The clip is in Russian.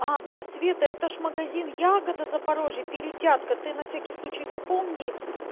а да света это же магазин ягода запорожье перетятка ты на всякий случай запомни